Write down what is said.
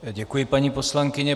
Děkuji, paní poslankyně.